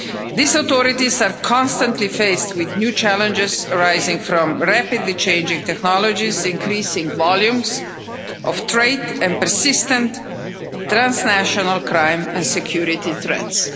These authorities are constantly faced with new challenges arising from rapidly changing technologies, increasing volumes of trade, and persistent transnational crime and security threats.